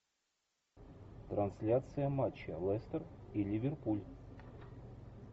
трансляция матча лестер и ливерпуль